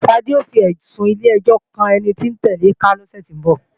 Ṣadé ó fẹ̀sùn ilé-ẹjọ́ kan ẹni tóún tẹ̀le ká lọ́sẹ̀ tó ń bọ̀